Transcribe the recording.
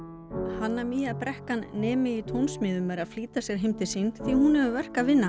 hanna brekkan nemi í tónsmíðum er að flýta sér heim til sín því hún hefur verk að vinna